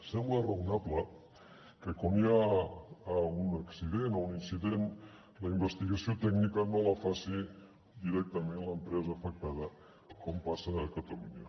sembla raonable que quan hi ha un accident o un incident la investigació tècnica no la faci directament l’empresa afectada com passa a catalunya